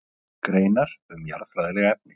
Greinar um jarðfræðileg efni.